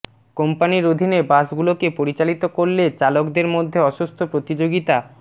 কোম্পানির অধীনে বাসগুলোকে পরিচালিত করলে চালকদের মধ্যে অসুস্থ প্রতিযোগিতা